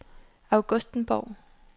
Augustenborg